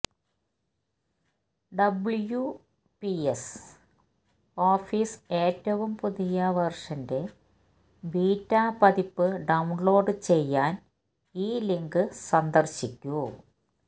W P S office ഏറ്റവും പുതിയ വെര്ഷന്റെ ബീറ്റാ പതിപ്പ് ഡൌണ്ലോഡ് ചെയ്യാന് ഈ ലിങ്ക് സന്ദര്ശിക്കു